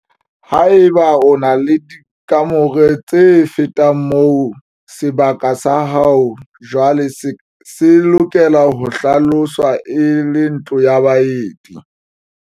Haeba o na le dikamore tse fetang moo, sebaka sa hao jwaale se lokela ho hlaloswa e le ntlo ya baeti.